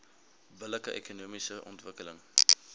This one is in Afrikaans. billike ekonomiese ontwikkeling